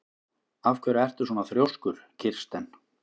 Af hverju ertu svona þrjóskur, Kirsten?